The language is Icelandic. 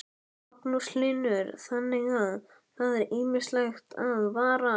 Magnús Hlynur: Þannig að það er ýmislegt að varast?